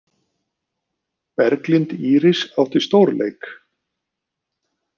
Berglind Íris átti stórleik